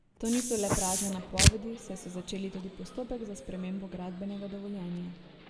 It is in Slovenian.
To niso le prazne napovedi, saj so začeli tudi postopek za spremembo gradbenega dovoljenja.